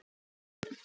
Saga Rún.